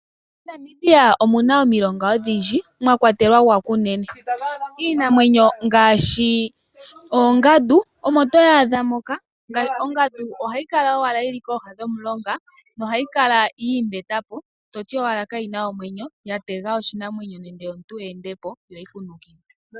MoNamibia omu na omilonga odhindji mwa kwatelwa gwaKunene iinamwenyo ngaashi oongandu omo to dhaadha moka. Ongandu ohayi kala owala yili kooha dhomulonga nohayi kala yiimbetapo toti owala kayi na omwenyo ya tega oshinamwenyo nenge omuntu eendepo yo yi kunukile.